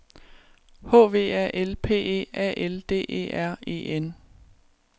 H V A L P E A L D E R E N